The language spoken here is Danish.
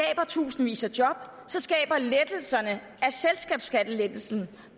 tusindvis af job så skaber lettelserne